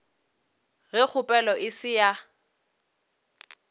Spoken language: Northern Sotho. ge kgopelo e se ya